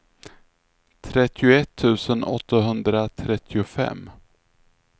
trettioett tusen åttahundratrettiofem